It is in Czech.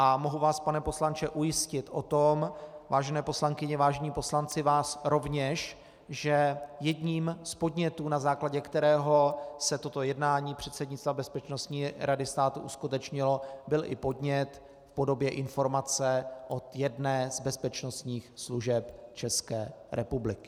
A mohu vás, pane poslanče, ujistit o tom, vážené poslankyně, vážení poslanci, vás rovněž, že jedním z podnětů, na základě kterého se toto jednání předsednictva Bezpečnostní rady státu uskutečnilo, byl i podnět v podobě informace od jedné z bezpečnostních služeb České republiky.